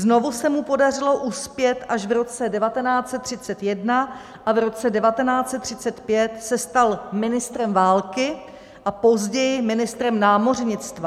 Znovu se mu podařilo uspět až v roce 1931 a v roce 1935 se stal ministrem války a později ministrem námořnictva.